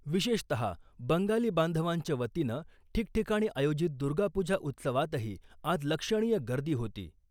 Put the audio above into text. विशेषतः बंगाली बांधवांच्या वतीनं ठिकठीकाणी आयोजित दुर्गापूजा उत्सवातही आज लक्षणीय गर्दी होती .